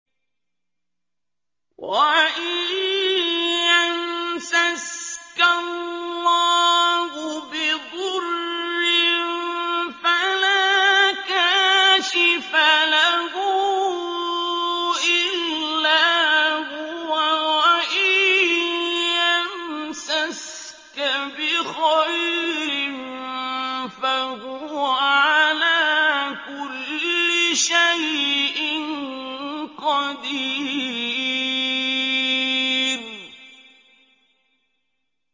وَإِن يَمْسَسْكَ اللَّهُ بِضُرٍّ فَلَا كَاشِفَ لَهُ إِلَّا هُوَ ۖ وَإِن يَمْسَسْكَ بِخَيْرٍ فَهُوَ عَلَىٰ كُلِّ شَيْءٍ قَدِيرٌ